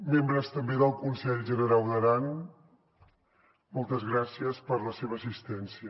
membres també del conselh generau d’aran moltes gràcies per la seva assistència